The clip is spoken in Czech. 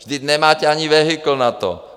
Vždyť nemáte ani vehikl na to!